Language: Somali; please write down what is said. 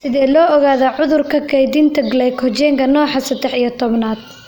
Sidee loo ogaadaa cudurka kaydinta glycogenka nooca sedex iyo tobnaad?